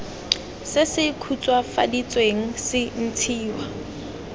se se khutswafaditsweng se ntshiwa